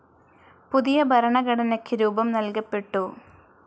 പുതിയ ഭരണഘടനയ്ക്ക് രൂപം നൽകപ്പെട്ടു.